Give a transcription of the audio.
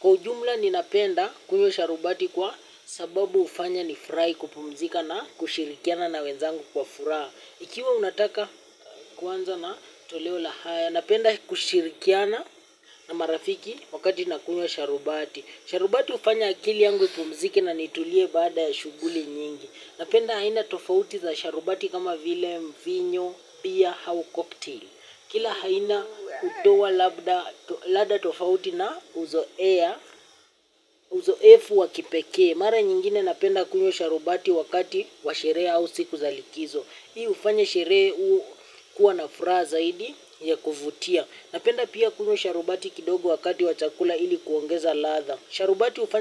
Kwa ujumla ninapenda kunywa sharubati kwa sababu ufanya nifurai kupumzika na kushirikiana na wenzangu kwa furaha. Ikiwa unataka kuanza na toleo la haya, napenda kushirikiana na marafiki wakati nakunywa sharubati. Sharubati ufanya akili yangu ipumzike na nitulie baada ya shughuli nyingi. Napenda aina tofauti za sharubati kama vile mvinyo, pia hau koktail. Kila haina utoa labda lada tofauti na uzoea, uzoefu wa kipekee. Mara nyingine napenda kunywa sharubati wakati wa sherehe au siku za likizo. Hii ufanya sherehe u kuwa na fraha zaidi ya kuvutia. Napenda pia kunywa sharubati kidogo wakati wa chakula ili kuongeza latha. Sharubatu ufa.